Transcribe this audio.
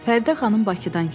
Fərdə xanım Bakıdan gəlib.